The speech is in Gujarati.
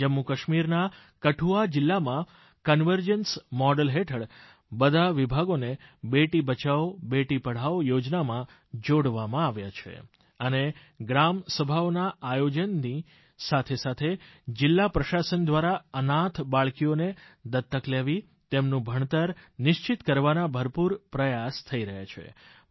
જમ્મુકાશ્મીરના કઠુઆ જિલ્લામાં કન્વર્જન્સ મોડેલ હેઠળ બધા વિભાગોને બેટી બચાવોબેટી પઢાઓ યોજનામાં જોડવામાં આવ્યા છે અને ગ્રામસભાઓના આયોજનની સાથેસાથે જિલ્લા પ્રશાસન દ્વારા અનાથ બાળકીઓને દત્તક લેવી તેમનું ભણતર નિશ્ચિત કરવાના ભરપૂર પ્રયાસ થઈ રહ્યા છે